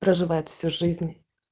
проживает всю жизнь